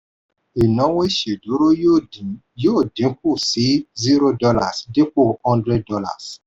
ìnáwó ìṣèdúró yóò dín yóò dín kù sí zero dollars dípò hundred dollars